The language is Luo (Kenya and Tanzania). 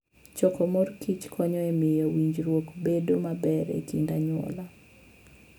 Choko mor kich konyo e miyo winjruok bedo maber e kind anyuola.